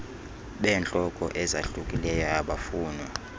beentlobo ezahlukileyo obufunwa